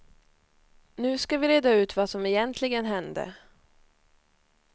Nu ska vi reda ut vad som egentligen hände.